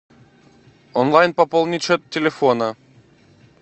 онлайн пополнить счет телефона